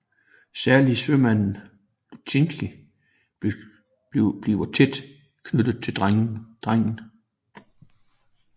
Særlig sømanden Lutjkin bliver tæt knyttet til drengen